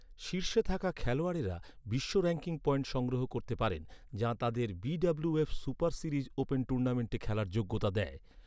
শীর্ষে থাকা খেলোয়াড়েরা বিশ্ব র‍্যাঙ্কিং পয়েন্ট সংগ্রহ করতে পারেন, যা তাঁদের বি.ডব্লিউ.এফ সুপার সিরিজ ওপেন টুর্নামেন্টে খেলার যোগ্যতা দেয়।